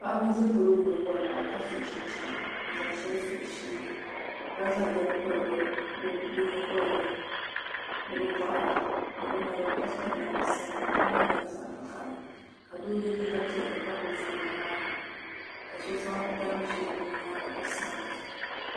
Paɣaba n ʒɛ polo ŋɔ ni wori waa ka so chinchina n zaŋ shɛli piri bi nyingoli ni ni bi boɣari ni bi naba ka piri namda sabila tingbani maa nyɛla zaɣ vakaɣali ka so yɛ liiga piɛlli ka gbubi foon n ŋmaariba ka so zaŋ tani ʒiɛ niŋ o nyaanga ka sabila